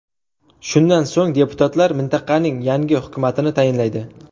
Shundan so‘ng deputatlar mintaqaning yangi hukumatini tayinlaydi.